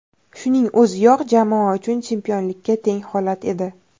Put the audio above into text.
Shuning o‘ziyoq jamoa uchun chempionlikka teng holat edi.